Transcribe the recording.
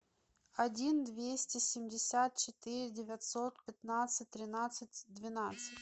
один двести семьдесят четыре девятьсот пятнадцать тринадцать двенадцать